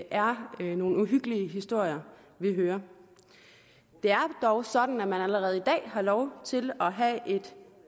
er nogle uhyggelige historier vi hører det er dog sådan at man allerede i dag har lov til at have et